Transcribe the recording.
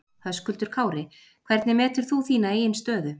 Höskuldur Kári: Hvernig metur þú þína eigin stöðu?